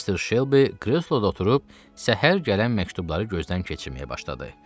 Missis Şelbi qreloda oturub, səhər gələn məktubları gözdən keçirməyə başladı.